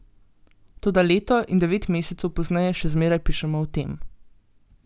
Toda leto in devet mesecev pozneje še zmeraj pišemo o tem.